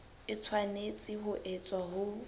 e tshwanetse ho etswa ho